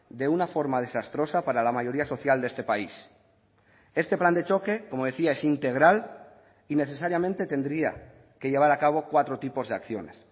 de una forma desastrosa para la mayoría social de este país este plan de choque como decía es integral y necesariamente tendría que llevar a cabo cuatro tipos de acciones